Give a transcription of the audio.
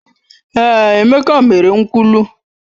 Èé, Emeka mere nkwulu.